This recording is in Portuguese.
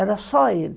Era só ele.